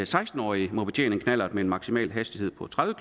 seksten årige må betjene en knallert med en maksimal hastighed på tredive